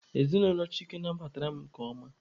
Ezinụlọ Chike nabatara m nke ọma.